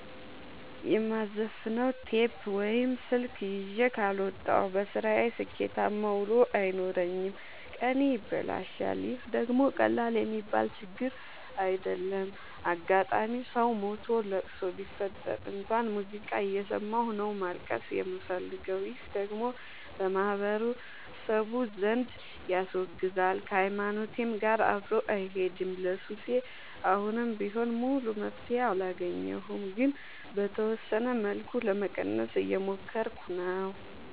የማዘፍ ነው ቴፕ ወይም ስልክ ይዤ ካልወጣሁ። በስራዬ ስኬታማ ውሎ አይኖረኝም ቀኔ ይበላሻል ይህ ደግሞ ቀላል የሚባል ችግር አይደለም። አጋጣም ሰው ሞቶ ለቅሶ ቢፈጠር እንኳን ሙዚቃ እየሰማሁ ነው ማልቀስ የምፈልገው ይህ ደግሞ በማህበረሰቡ ዘንድ ያስወግዛል። ከሀይማኖቴም ጋር አብሮ አይሄድም። ለሱሴ አሁንም ቢሆን ሙሉ መፍትሔ አላገኘሁም ግን በተወሰነ መልኩ ለመቀነስ እየሞከርኩ ነው።